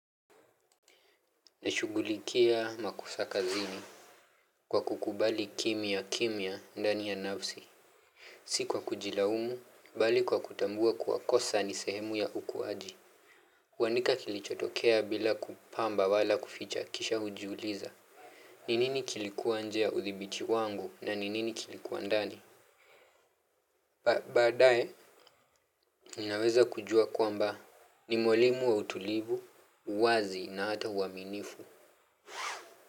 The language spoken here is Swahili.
Nashugulikia makosa kazini. Kwa kukubali kimya kimya ndani ya nafsi si kwa kujilaumu, bali kwa kutambua kuwa kosa ni sehemu ya ukuwaji. Kuandika kilichotokea bila kupamba wala kuficha kisha ujiuliza. Ni nini kilikuwa nje ya uthibiti wangu na ni nini kilikuwa ndani. Baadae, ninaweza kujua kwamba ni mwalimu wa utulivu, uwazi na hata uaminifu.